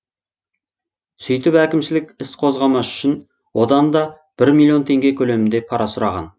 сөйтіп әкімшілік іс қозғамас үшін одан да бір миллион теңге көлемінде пара сұраған